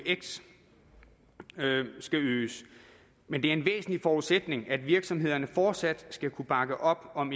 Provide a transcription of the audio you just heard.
eux skal øges men det er en væsentlig forudsætning at virksomhederne fortsat skal kunne bakke op om